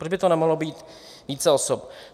Proč by to nemohlo být více osob?